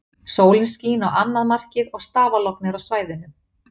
Sólin skín á annað markið og stafalogn er á svæðinu.